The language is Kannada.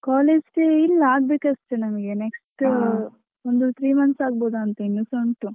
College day ಇಲ್ಲ ಆಗ್ಬೇಕು ಅಷ್ಟೆ ನಮ್ಗೆ next ಒಂದು three months ಆಗ್ಬೋದಾ ಅಂತ ಇನ್ನುಸಾ ಉಂಟು.